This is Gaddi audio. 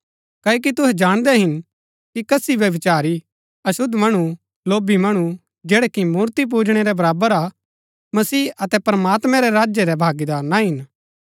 क्ओकि तुहै जाणदै हिन कि कसी व्यभिचारी अशुद्ध मणु लोभी मणु जैडा कि मूर्ति पूजणै रै बराबर हा मसीह अतै प्रमात्मैं रै राज्य रै भागीदार ना हिन